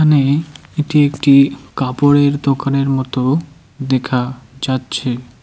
এখানে এটি একটি কাপড়ের দোকানের মতো দেখা যাচ্ছে।